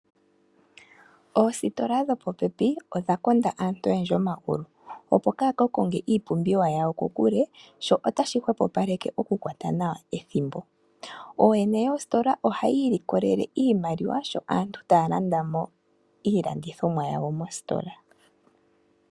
Oositola dhopopepi odha konda aantu oyendji omagulu opo kaya kakonge iipumbiwa yawo kokule sho otashi hwepopaleke oku kwata nawa ethimbo. Ooyene yoositola ohayi ikolelele iimaliwa sho aantu taya landamo iilandithomwa yawo mositola